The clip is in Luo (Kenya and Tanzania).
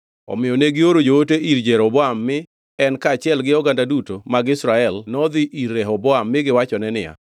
Omiyo negioro joote ir Jeroboam mi en kaachiel gi oganda duto mar Israel nodhi ir Rehoboam mi giwachone niya,